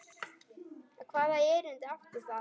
Hvaða erindi átti það?